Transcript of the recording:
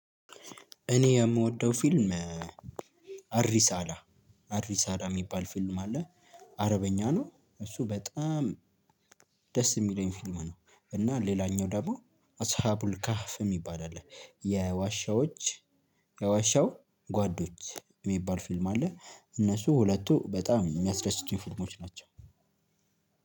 እኔ የምወደው ፊልም አሪ ሳላ አሪ ሳላ የሚባል ፊልም። አለ አረበኛ ነው እሱ በጣም ደስ የሚለኝ ፊልም ነው። እና ሌላኛው ደግሞ አስሃቡል ካፍ የሚባል አለ የዋሻዎች የዋሻው ጓዶች የሚባል ፊልም አለ። እነሱ ሁለቱ በጣም የሚያስደስቱኝ ፊልሞች ናቸው።